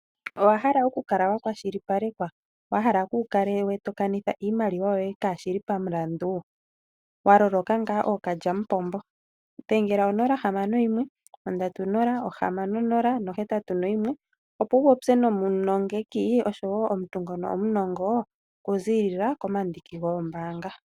Owa hala oku kala wa kwashipalekwa? Wa hala kuu kale to kanitha iimaliwa yoye kaashi li pamulandu? Wa loloka ngaa ookalyamupombo, dhengela 061306081, opo wu popye nomunongeki noshowo omuntu ngono omunongo okuziilila komandiki goombaanga.